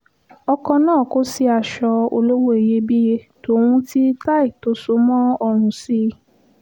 ọkọ̀ náà kò sí aṣọ olówó iyebíye tòun ti táì tó so mọ́ ọ̀run sí i